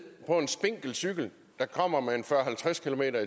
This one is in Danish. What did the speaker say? på en spinkel cykel der kommer med en fyrre